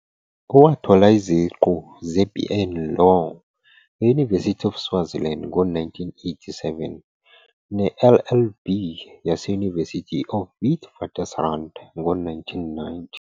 Wathola iziqu ze- BA in Law e- University of Swaziland ngo-1987, ne- LLB yase- University of Witwatersrand ngo-1990.